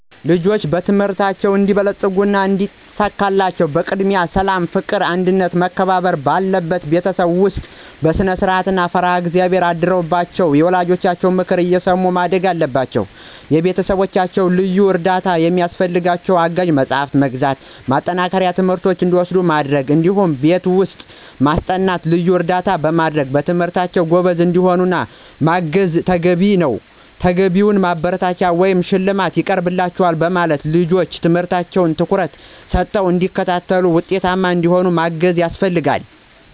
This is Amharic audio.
ልጆች በትምህርታቸው እንዲበለጽጉና እንዲሳካላቸው በቅድሚያ ሠላም፣ ፍቅር፣ አንድነትና መከባበር ባለበት ቤተሰብ ውስጥ በስነስርዓት፣ ፈሪሀ እግዚአብሔር አድሮባቸው ና የወላጆቻቸውን ምክር እየሰሙ ማደግ አለባቸው። ከቤተሰቦቻቸው ልዩ እርዳታ ሚያስፈልጋቸው አጋዥ መጽሐፍትን በመግዛት፣ ማጠናከሪያ ትምህርቶችን እንዲወስዱ በማድረግ እዲሁም ቤት ውስጥ በማስጠናት ልዩ እርዳታ በማድረግ በትምህርታቸው ጎበዝ እንዲሆኑ ማገዝ ተገቢ ነዉ። ተገቢውን ማበረታቻ ወይም ሽልማት ይቀርብላችኋል በማለት ልጆች ትምህርታቸውን ትኩረት ሰተው እንዲከታተሉና ውጤታማ እንዲሆኑ ማገዝ ያስፈልጋል።